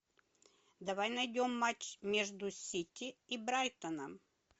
давай найдем матч между сити и брайтоном